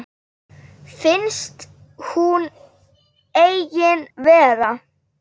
Finnst hún engin vera.